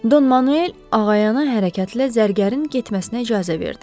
Don Manuel ağayana hərəkətlə zərgərin getməsinə icazə verdi.